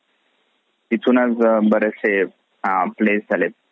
तिथून बरेचसे अ place झालेत.